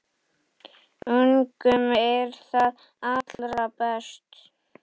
Ungum er það allra best